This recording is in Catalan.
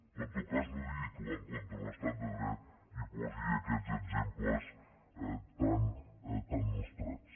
però en tot cas no digui que va en contra de l’estat de dret i posi aquests exemples tan nostrats